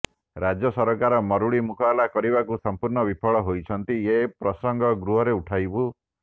ରାଜ୍ୟ ସରକାର ମରୁଡ଼ି ମୁକାବିଲା କରିବାକୁ ସମ୍ପୂର୍ଣ୍ଣ ବିଫଳ ହୋଇଛନ୍ତି ଏ ପ୍ରସଙ୍ଗ ଗୃହରେ ଉଠାଇବୁ